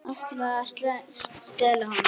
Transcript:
Ætlaði að stela honum!